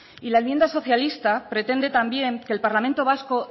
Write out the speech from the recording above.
y la enmienda socialista pretende también que el parlamento vasco